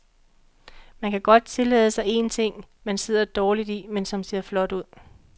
Man kan godt tillade sig en ting, man sidder dårligt i, men som ser flot ud.